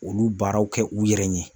Olu baaraw kɛ u yɛrɛ ye.